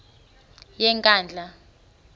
yenkandla